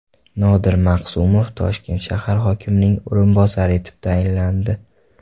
Nodir Maqsumov Toshkent shahar hokimining o‘rinbosari etib tayinlandi.